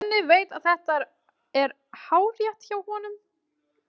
Svenni veit að þetta er hárrétt hjá honum.